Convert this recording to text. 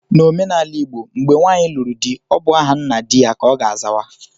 N'omenala igbo, mgbe nwanyi lụrụ di, ọ bụ aha nna di ya ka ọ ga azawa